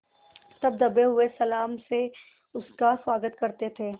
तब दबे हुए सलाम से उसका स्वागत करते थे